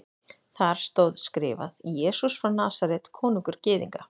Þar stóð skrifað: Jesús frá Nasaret, konungur Gyðinga.